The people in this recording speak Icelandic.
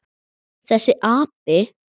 Þessi api!